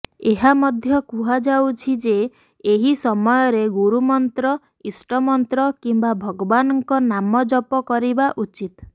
ଏହା ମଧ୍ୟ କୁହାଯାଉଛି ଯେ ଏହି ସମୟରେ ଗୁରୁମନ୍ତ୍ର ଇଷ୍ଟମନ୍ତ୍ର କିମ୍ବା ଭଗବାନଙ୍କ ନାମ ଜପ କରିବା ଉଚିତ୍